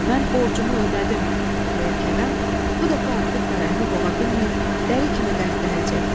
Mən borcumu ödədim deyə Kərəm, bu dəfə artıq fərəhini boğa bilməyib, dəli kimi qəhqəhə çəkdi.